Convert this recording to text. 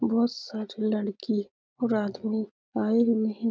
बहुत सारे लड़की और आदमी आए भी नहीं।